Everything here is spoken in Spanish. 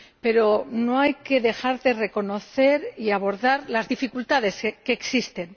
Pero no hay que dejar de reconocer y abordar las dificultades que existen.